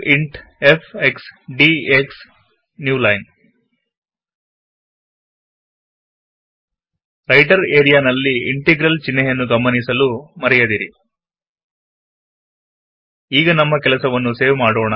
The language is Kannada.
int f x d x new line writer ನಲ್ಲಿ ಇಂಟೆಗ್ರಲ್ ಚಿಹ್ನೆಯನ್ನು ಗಮನಿಸಲು ಮರೆಯದಿರಿ ಈಗ ನಮ್ಮ ಕೆಲಸವನ್ನು ಸೇವ್ ಮಾಡೋಣ